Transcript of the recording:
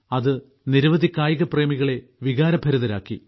അത് നിരവധി കായിക പ്രേമികളെ വികാരഭരിതരാക്കി